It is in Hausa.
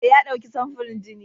Eh, ya ɗauki samfurin jini.